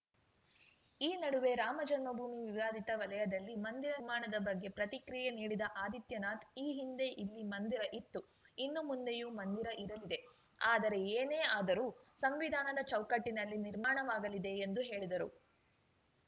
ಈ ನಡುವೆ ರಾಮಜನ್ಮಭೂಮಿ ವಿವಾದಿತ ವಲಯದಲ್ಲಿ ಮಂದಿರ ನಿರ್ಮಾಣದ ಬಗ್ಗೆ ಪ್ರತಿಕ್ರಿಯೆ ನೀಡಿದ ಆದಿತ್ಯನಾಥ್‌ ಈ ಹಿಂದೆ ಇಲ್ಲಿ ಮಂದಿರ ಇತ್ತು ಇನ್ನು ಮುಂದೆಯೂ ಮಂದಿರ ಇರಲಿದೆ ಆದರೆ ಏನೇ ಆದರೂ ಸಂವಿಧಾನದ ಚೌಕಟ್ಟಿನಲ್ಲಿ ನಿರ್ಮಾಣವಾಗಲಿದೆ ಎಂದು ಹೇಳಿದರು